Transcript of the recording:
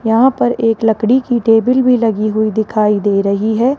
यहां पर एक लकड़ी की एक टेबिल भी लगी हुई दिखाई दे रही हैं।